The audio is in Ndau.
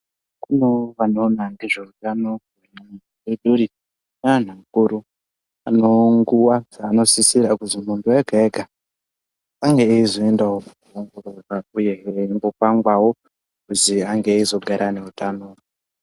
Kunoo vanoona ngezveutano reduri neanhu akuru anonguwa dzaanosisira kuzonoo yega yega ange eizoenda wo hu hu kwanguye eindopangwawo kuti ange eizogarewo neutano